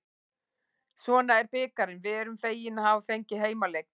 Svona er bikarinn, við erum fegin að hafa fengið heimaleik.